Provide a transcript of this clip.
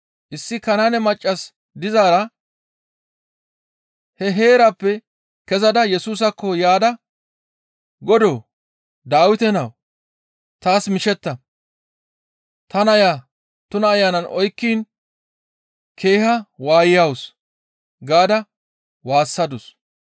Issi Kanaane maccas dizaara he heerappe kezada Yesusaakko yaada, «Godoo, Dawite nawu! Taas mishetta! Ta naya tuna ayanay oykkiin keeha waayawus» gaada waassadus.